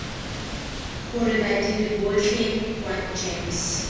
gore badiri botlhe kwa gems